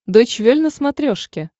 дойч вель на смотрешке